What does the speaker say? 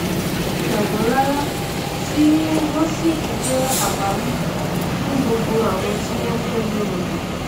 tẹ wọn rárá tí wọn sì fi jẹ àwáàrí fún gbogbo àwọn tí ó fẹ mú wọn dè